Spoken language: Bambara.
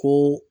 Ko